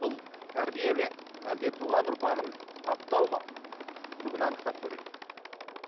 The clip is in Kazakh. бұл тәрбие ме әлде туған ұрпағын таптау ма бүгін анықтап көрейік